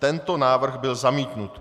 Tento návrh byl zamítnut.